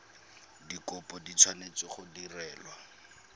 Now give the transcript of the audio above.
dikopo di tshwanetse go direlwa